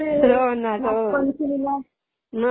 हो, ना, हो.